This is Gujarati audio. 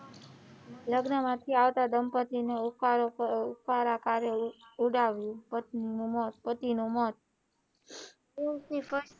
લગ્ન માંથી આવતા દંપતિની ને ઉકાળા ઉકાળા કર્યે ઉડ્યુ પત્ની નું મોત પતિ નું મોત,